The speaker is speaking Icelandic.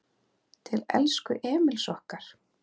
Til elsku Emils okkar.